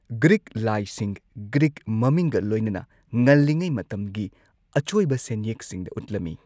Greek ꯂꯥꯏꯁꯤꯡ, Greek ꯃꯃꯤꯡꯒ ꯂꯣꯏꯅꯅ, ꯉꯜꯂꯤꯉꯩ ꯃꯇꯝꯒꯤ ꯑꯆꯣꯏꯕ ꯁꯦꯟꯌꯦꯛꯁꯤꯡꯗ ꯎꯠꯂꯝꯃꯤ꯫